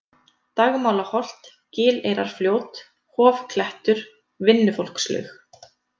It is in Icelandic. Dagmálaholt, Gileyrarfljót, Hofklettur, Vinnufólkslaug